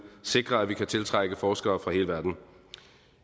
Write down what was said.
sikre at vi kan tiltrække forskere fra hele verden